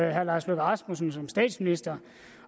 herre lars løkke rasmussen som statsminister